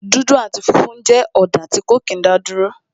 dudu ati funfun jẹ́ ọ̀dà tí ó kí n daduro